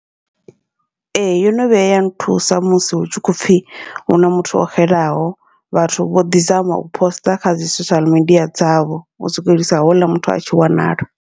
Ee, yono vhuya nthusa musi hu tshi khou pfhi huna muthu o xelaho, vhathu vho ḓi zama u poster kha dzi social media dzavho u swikelisa houḽa muthu a tshi wanala.